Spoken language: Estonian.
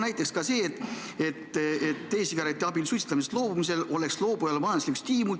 Näiteks võiks e-sigarettide abil suitsetamisest loobujal olla selleks majanduslik stiimul.